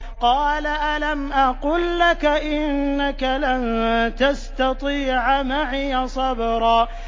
۞ قَالَ أَلَمْ أَقُل لَّكَ إِنَّكَ لَن تَسْتَطِيعَ مَعِيَ صَبْرًا